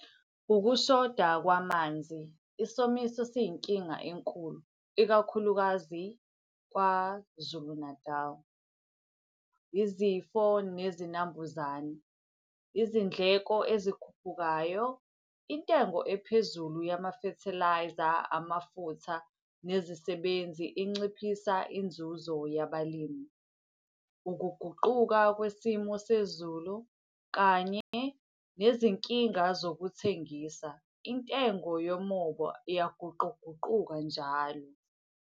Ukushoda kwamanzi, isomiso siyinkinga enkulu ikakhulukazi KwaZulu Natal. Izifo nezinambuzane. Izindleko ezikhuphukayo, intengo ephezulu yama-fertiliser, amafutha, nezisebenzi inciphisa inzuzo yabalimi. Ukuguquka kwesimo sezulu kanye nezinkinga zokuthengisa, intengo yomoba iyaguquguquka njalo.